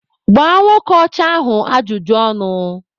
Gbaa nwoke ọcha ahụ ajụjụ ọnụ!